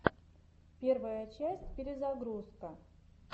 первая часть перезагрузка